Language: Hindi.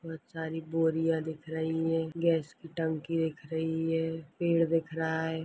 बहुत सारी बोरियां दिख रही है गैस की टंकी दिख रही है पेड़ दिख रहा है।